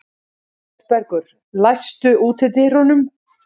Oddbergur, læstu útidyrunum.